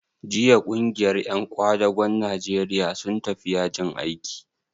Jiya ƙungiyar ƴan ƙwadagon Najeriya sun tafi yajin aiki?